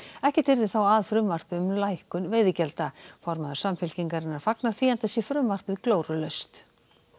ekkert yrði þá af frumvarpi um lækkun veiðigjalda formaður Samfylkingarinnar fagnar því enda sé frumvarpið glórulaust